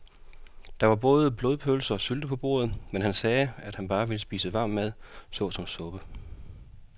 Der var både blodpølse og sylte på bordet, men han sagde, at han bare ville spise varm mad såsom suppe.